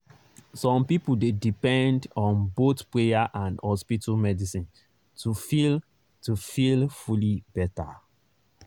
some people dey depend on both prayer and hospital medicine to feel to feel fully better.